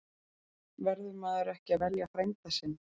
Verður maður ekki að velja frænda sinn?